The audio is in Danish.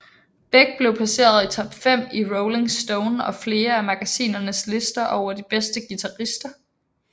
Beck blev placeret i top 5 i Rolling Stone og flere andre magasiners lister over de bedste guitarister